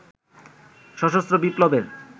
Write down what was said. সশস্ত্র বিপ্লবের